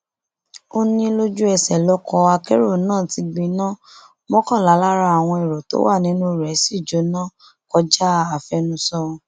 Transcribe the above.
ó ní lójúẹsẹ lọkọ akérò náà ti gbiná mọkànlá lára àwọn ẹrọ tó wà nínú rẹ sì jóná kọjá àfẹnusọ